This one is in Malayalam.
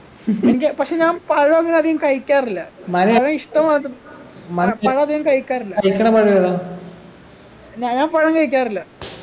എനിക്ക് പക്ഷെ ഞാൻ പഴം അങ്ങന അധികം കഴിക്കാറില്ല പഴ ഇഷ്ട മാത്രം പഴ അധികം കഴിക്കാറില്ല ഞാ ഞാൻ പഴം കഴിക്കാറില്ല